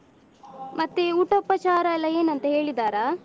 ಮತ್ತೆ ಊಟ ಉಪಚಾರ ಎಲ್ಲ ಏನಂತ ಹೇಳಿದ್ದಾರಾ?